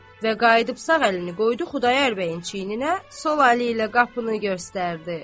Və qayıdıb sağ əlini qoydu Xudayar bəyin çiyninə, sol əli ilə qapını göstərdi.